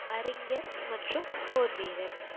அறிஞர் மற்றும் போர்வீரர்